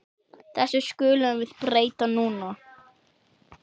Þessu skulum við breyta núna.